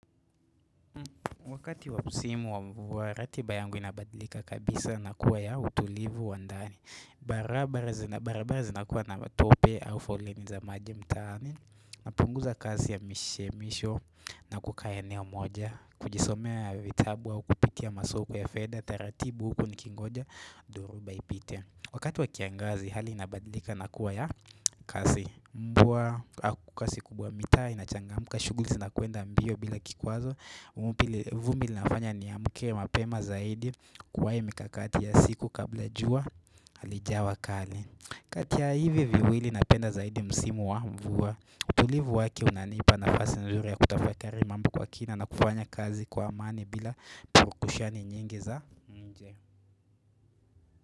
Wakati wa msimu wa mvua ratiba yangu inabadilika kabisa na kuwa ya utulivu wa ndani barabara zinakuwa na matope au foleni za maji mtaani napunguza kasi ya mishemisho na kukaa eneo moja kujisomea vitabu au kupitia masoko ya fedha taratibu huku nikingoja duruba ipite Wakati wa kiangazi hali inabadlika na kuwa ya kasi mvua Akukasi kubwa mitaa, inachangamuka shughuli zinakwenda mbio bila kikwazo vumbi linafanya niamke mapema zaidi kuwae mikakati ya siku kabla jua Halijawa kali kati ya hivi viwili napenda zaidi msimu wa mvua utulivu wake unanipa nafasi nzuri ya kutafakari mambo kwa kina na kufanya kazi kwa amani bila purukushani nyingi za nje.